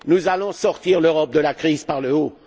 Nous allons sortir l'Europe de la crise par le haut.